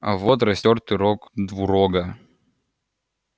а вот растёртый рог двурога